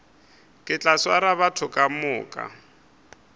ke tla swara batho kamoka